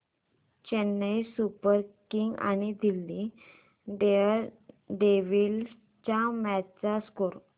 Chennai Super Kings आणि Delhi Daredevils च्या match चा स्कोअर